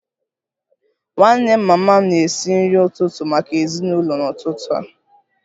Nwanne mama m na-esi nri ụtụtụ maka ezinụlọ n'ụtụtụ a